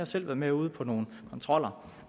selv været med ude på nogle kontroller